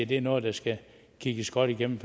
det er noget der skal kigges godt igennem